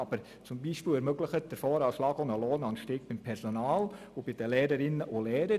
Zum Beispiel ermöglicht der VA einen Lohnanstieg beim Personal und bei den Lehrerinnen und Lehrern.